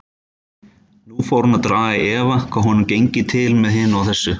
Nú fór hún að draga í efa hvað honum gengi til með hinu og þessu.